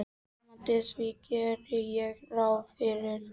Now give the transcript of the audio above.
Nemandi: Því geri ég ráð fyrir